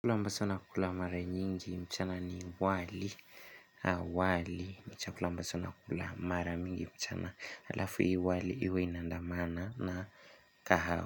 Chakula ambacho nakula mara nyingi mchana ni wali, wali, ni chakula ambacho nakula mara mingi mchana alafu hii wali iwe ina andamana na kahawa.